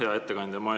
Hea ettekandja!